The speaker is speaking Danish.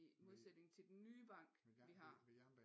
I modsætning til den nye bank vi har